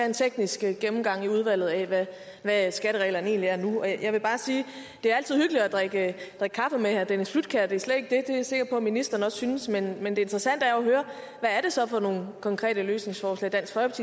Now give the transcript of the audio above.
en teknisk gennemgang i udvalget af hvad skattereglerne egentlig er nu jeg vil bare sige at det altid er hyggeligt at drikke kaffe med herre dennis flydtkjær det er slet ikke det er jeg sikker på at ministeren også synes men men det interessante er jo at høre hvad det så er for nogle konkrete løsningsforslag dansk